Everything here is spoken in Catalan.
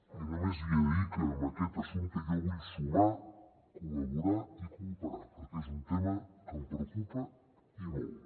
i només li he de dir que en aquest assumpte jo vull sumar col·laborar i cooperar perquè és un tema que em preocupa i molt